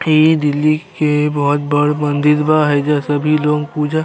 इ दिल्ही के बहुत बड़ मंदिर बा। एहिजा सभी लोग पूजा --